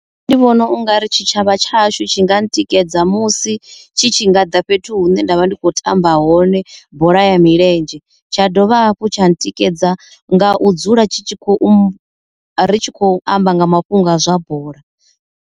Nṋe ndi vhona u nga ri tshitshavha tshashu tshi nga tikedza musi tshi tshi nga ḓa fhethu hune ndavha ndi kho tamba hone bola ya milenzhe tsha dovha hafhu tsha tikedza nga u dzula tshi tshi khou ri tshi khou amba nga mafhungo a zwa bola.